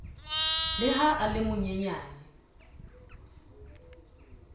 le ha a le monyenyane